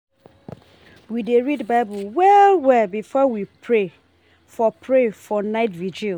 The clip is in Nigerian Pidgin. We dey read Bible well-well before we pray for pray for night virgil.